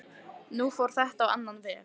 Nú fór þetta á annan veg.